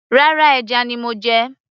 rárá, ẹja ni mo jẹ